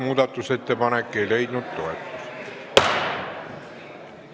Muudatusettepanek ei leidnud toetust.